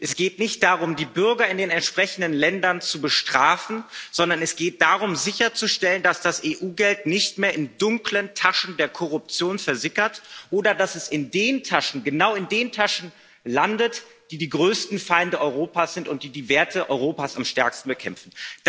Es geht nicht darum, die Bürger in den entsprechenden Ländern zu bestrafen, sondern es geht darum, sicherzustellen, dass das EU Geld nicht mehr in dunklen Taschen der Korruption versickert oder dass es nicht genau in den Taschen derer landet, die die größten Feinde Europas sind und die die Werte Europas am stärksten bekämpfen.